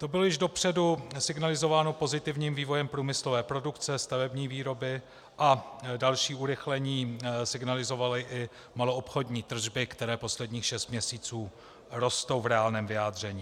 To bylo již dopředu signalizováno pozitivním vývojem průmyslové produkce, stavební výroby a další urychlení signalizovaly i maloobchodní tržby, které posledních šest měsíců rostou v reálném vyjádření.